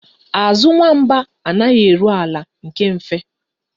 Azụ nwamba anaghị eru ala nke mfe